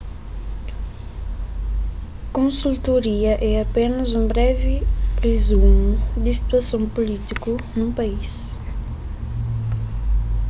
konsultoria é apénas un brevi rizumu di situason pulítiku nun país